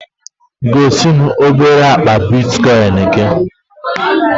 Gosi m obere akpa Bitikoin gị